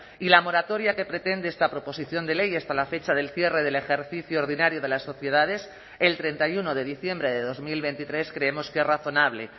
y la moratoria que pretende esta proposición de ley hasta la fecha del cierre del ejercicio ordinario de las sociedades el treinta y uno de diciembre de dos mil veintitrés creemos que es razonable